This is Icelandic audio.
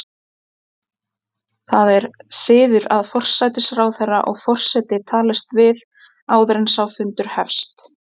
Það er siður að forsætisráðherra og forseti talist við áður en sá fundur hefst.